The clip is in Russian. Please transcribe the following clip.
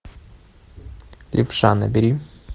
левша набери